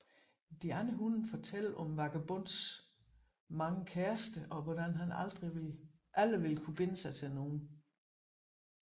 De andre hunde fortæller om Vagabondens mange kærester og hvordan han aldrig vil binde sig til nogen